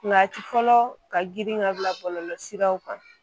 a ti fɔlɔ ka girin ka bila bɔlɔlɔ siraw kan